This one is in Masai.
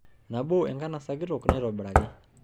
Nabo enkanasa kitok naitobiraki.